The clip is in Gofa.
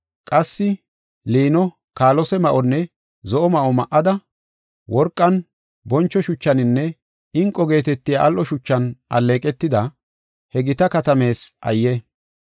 Qassi, “ ‘Liino, kaalose ma7onne zo7o ma7o ma7ada, worqan, boncho shuchaninne inqo geetetiya al7o shuchan alleeqetida, he gita katamees ayye!